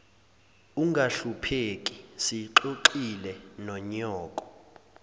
ungahlupheki siyixoxile nonyoko